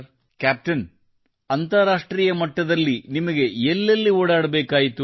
captain ಅಂತಾರಾಷ್ಟ್ರೀಯ ಮಟ್ಟದಲ್ಲಿ ನಿಮಗೆ ಎಲ್ಲೆಲ್ಲಿ ಓಡಾಡಬೇಕಾಯಿತು